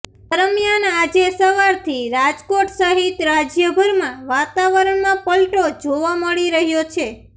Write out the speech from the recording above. દરમિયાન આજે સવારથી રાજકોટ સહિત રાજયભરમાં વાતાવરણમાં પલટો જોવા મળી રહ્યો છે